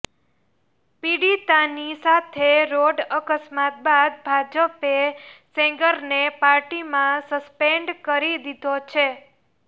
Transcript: પીડિતાની સાથે રોડ અકસ્માત બાદ ભાજપે સેંગરને પાર્ટીમાં સસ્પેન્ડ કરી દીધો છે